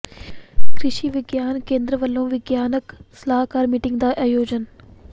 ਕ੍ਰਿਸ਼ੀ ਵਿਗਿਆਨ ਕੇਂਦਰ ਵੱਲੋਂ ਵਿਗਿਆਨਕ ਸਲਾਹਕਾਰ ਮੀਟਿੰਗ ਦਾ ਆਯੋਜਨ